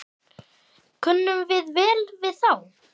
Kunnum við vel við þá?